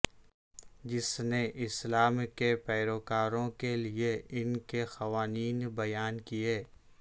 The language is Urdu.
جس نے اسلام کے پیروکاروں کے لئے ان کے قوانین بیان کئے